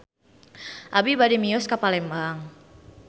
Abi bade mios ka Palembang